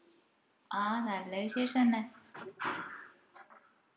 ആ നല്ല വിശേഷം തന്നെ